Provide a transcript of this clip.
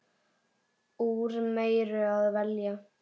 Úr meiru að velja!